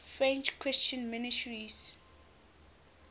french christian missionaries